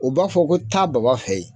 U b'a fɔ ko taa Baba fe yen